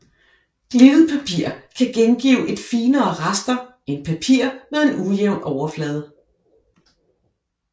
Glittet papir kan gengive et finere raster end papir med en ujævn overflade